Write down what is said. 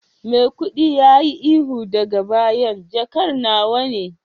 maikudi yayi ihu daga bayan jakar nawa ne